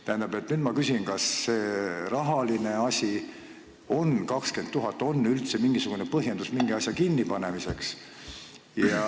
Ma nüüd küsin: kas see 20 000 eurot ikka on piisav põhjus osakonna kinnipanemiseks?